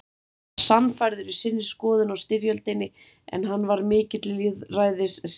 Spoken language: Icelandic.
var sannfærður í sinni skoðun á styrjöldinni, en hann var mikill lýðræðissinni.